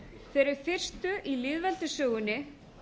þeirri fyrstu í lýðveldissögunni